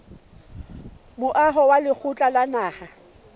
moaho wa lekgotla la naha